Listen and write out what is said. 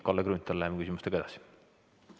Kalle Grünthal, läheme küsimustega edasi!